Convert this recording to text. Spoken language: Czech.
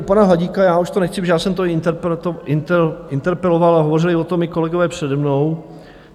U pana Hladíka, já už to nechci, protože já jsem to interpeloval a hovořili o tom i kolegové přede mnou.